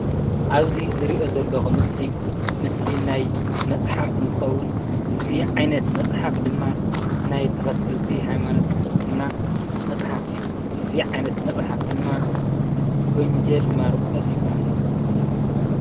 ኣብዚ ዝሪኦ ዘለኹ ምስሊ ምስሊ ናይ መፅሓፍ እንትኸውን እዚ ዓይነት መፅሓፍ ድማ ናይ ተኸተልቲ ሃይማኖት ክርስትና መፅሓፍ እዩ፡፡ እዚ ዓይነት መፅሓፍ ድማ ወንጀል ማርቆስ ይበሃል፡፡